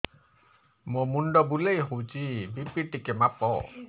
ମୋ ମୁଣ୍ଡ ବୁଲେଇ ହଉଚି ବି.ପି ଟିକେ ମାପ